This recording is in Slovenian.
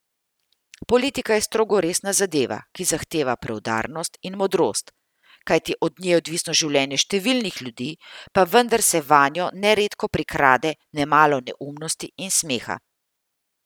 Politika je strogo resna zadeva, ki zahteva preudarnost in modrost, kajti od nje je odvisno življenje številnih ljudi, pa vendar se vanjo neredko prikrade nemalo neumnosti in smeha.